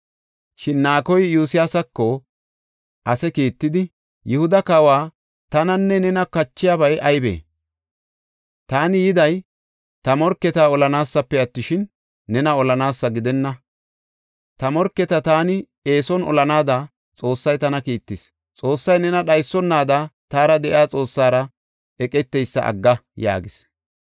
Shin Naakoy Iyosyaasako ase kiittidi, “Yihuda kawaw, tananne nena kachiyabay aybee? Taani yiday ta morketa olanaasafe attishin, nena olanaasa gidenna. Ta morketa taani eeson olanaada Xoossay tana kiittis. Xoossay nena dhaysonaada taara de7iya Xoossara eqeteysa agga” yaagis.